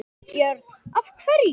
Björn: Af hverju?